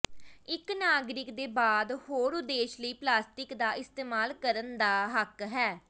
ਇੱਕ ਨਾਗਰਿਕ ਦੇ ਬਾਅਦ ਹੋਰ ਉਦੇਸ਼ ਲਈ ਪਲਾਸਟਿਕ ਦਾ ਇਸਤੇਮਾਲ ਕਰਨ ਦਾ ਹੱਕ ਹੈ